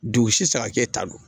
Dugu sisan e ta don